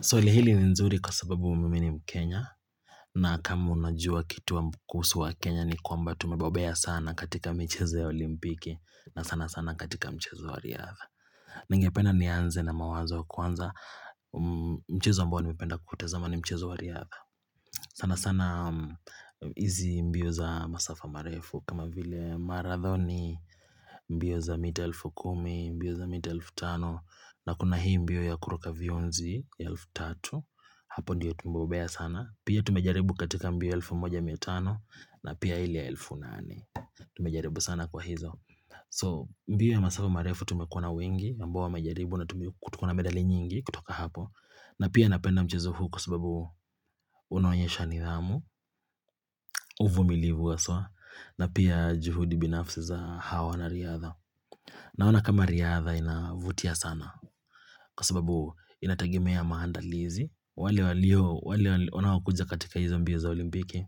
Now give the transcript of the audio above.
Swali hili ni nzuri kwa sababu mimi ni mkenya na kama unajua kitu kuhusu wakenya ni kwamba tumebombea sana katika mchezo ya olimpiki na sana sana katika mchezo wa riadha. Ningependa nianze na mawazo kuanza mchezo ambao nimependa kuutazama ni mchezo wa riadha, sana sana hizi mbio za masafa marefu kama vile maradhoni, mbio za mita elfu kumi, mbio za mita elfu tano na kuna hii mbio ya kuruka vionzi ya elfu tatu. Hapo ndiyo tumebombea sana. Pia tumejaribu katika mbio 1105 na pia ile ya elfu nane. Tumejaribu sana kwa hizo. So mbio ya masafu marefu tumekuwa na wengi. Ambao wamejaribu na tuko na medali nyingi kutoka hapo. Na pia napenda mchezo huu kwa sababu unaonyesha nidhamu. Uvumilivu haswa. Na pia juhudi binafsi za hawa wanariadha. Naona kama riadha inavutia sana. Kwa sababu inategemea maandalizi. Wale wanaokuja katika hizo mbio za olimpiki